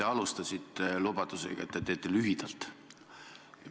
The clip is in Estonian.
Te alustasite lubadusega, et te teete lühidalt.